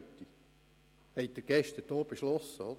Das haben Sie gestern so beschlossen.